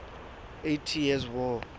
eighty years war